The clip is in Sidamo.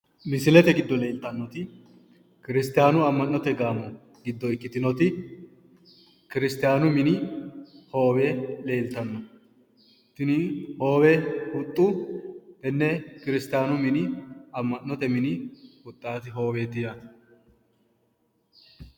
Misilete giddo leeltannoti kiristiyaanu amma'note gaamo giddo ikkitinoti kiristiyaanu mini hoowe leeltanno. Tini hoowe huxxu tenne kiristiyaanu mini amma'note mini huxxaati hooweeti yaate.